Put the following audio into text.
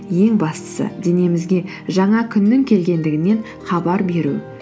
ең бастысы денемізге жаңа күннің келгендігінен хабар беру